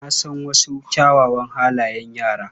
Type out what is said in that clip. Na san wasu kyawawan halayen yara.